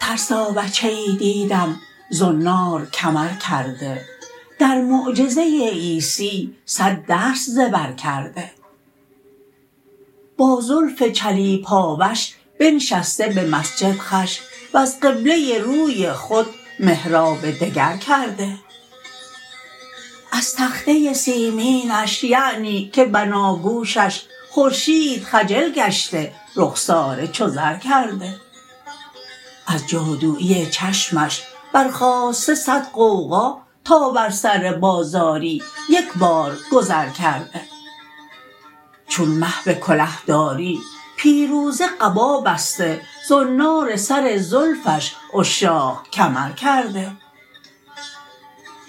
ترسا بچه ای دیدم زنار کمر کرده در معجزه عیسی صد درس ز بر کرده با زلف چلیپاوش بنشسته به مسجد خوش وز قبله روی خود محراب دگر کرده از تخته سیمینش یعنی که بناگوشش خورشید خجل گشته رخساره چو زر کرده از جادویی چشمش برخاسته صد غوغا تا بر سر بازاری یکبار گذر کرده چون مه به کله داری پیروزه قبا بسته زنار سر زلفش عشاق کمر کرده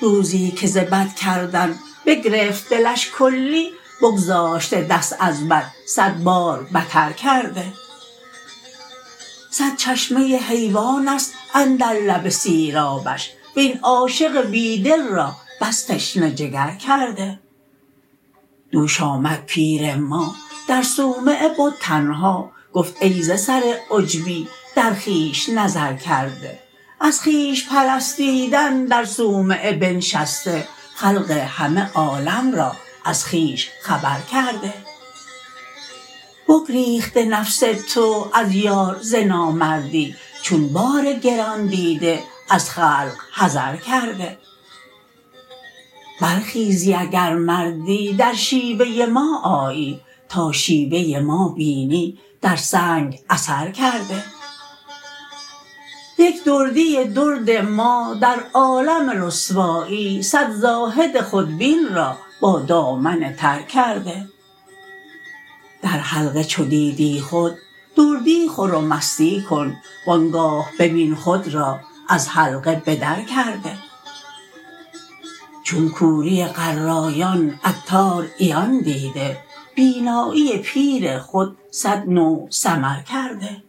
روزی که ز بد کردن بگرفت دلش کلی بگذاشته دست از بد صد بار بتر کرده صد چشمه حیوان است اندر لب سیرابش وین عاشق بی دل را بس تشنه جگر کرده دوش آمد پیر ما در صومعه بد تنها گفت ای ز سر عجبی در خویش نظر کرده از خویش پرستیدن در صومعه بنشسته خلق همه عالم را از خویش خبر کرده بگریخته نفس تو از یار ز نامردی چون بار گران دیده از خلق حذر کرده برخیزی اگر مردی در شیوه ما آیی تا شیوه ما بینی در سنگ اثر کرده یک دردی درد ما در عالم رسوایی صد زاهد خودبین را با دامن تر کرده در حلقه چو دیدی خود دردی خور و مستی کن وانگاه ببین خود را از حلقه به در کرده چون کوری قرایان عطار عیان دیده بینایی پیر خود صد نوع سمر کرده